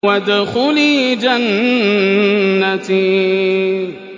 وَادْخُلِي جَنَّتِي